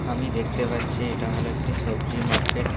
আমি দেখতে পাচ্ছি এটা হলো একটি সবজি মার্কেট ।